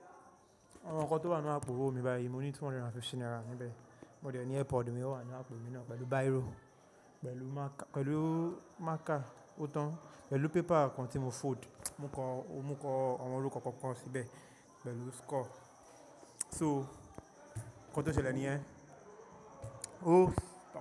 Àwọn ǹkan tó wà nínú àpò owó mi báyìí, mo ní two hundred and fifty naira níbẹ̀. Mo dè ẹ́ ní earpod mí ò wà nínú àpò mi náà pẹ̀lú biro, pẹ̀lú marker, pẹ̀lú marker òótan, pẹ̀lú paper kan tí mo fold, mú kọ, ó mú kọ àwọn orúkọ kọ̀ọ̀kan síbẹ̀ pẹ̀lú score. So, nǹkan tó ṣẹlẹ̀ yẹn. Oh!